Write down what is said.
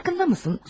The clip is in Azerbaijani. Farkındamısan?